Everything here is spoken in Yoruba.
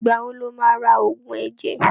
Ìgbà wo lo ma ra Ògùn ẹ̀jẹ̀?